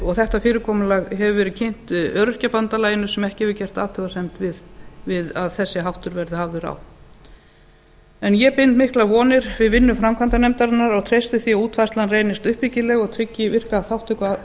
og þetta fyrirkomulag hefur verið kynnt öryrkjabandalaginu sem ekki hefur gert athugasemd við að þessi háttur verði hafður á ég bind miklar vonir við vinnu framkvæmdanefndarinnar og treysti því að útfærslan reynist uppbyggileg og tryggi virka þátttöku